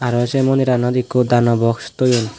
araw sey mobdirano ekko dano box toyon.